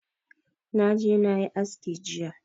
Na je na yi aski jiya